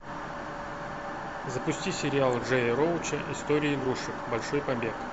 запусти сериалы джея роуча история игрушек большой побег